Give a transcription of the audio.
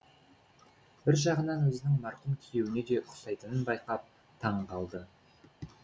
бір жағынан өзінің марқұм күйеуіне де ұқсайтынын байқап таңғалды